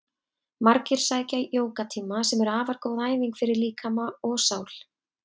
Margir sækja jógatíma sem eru afar góð æfing fyrir líkama og sál.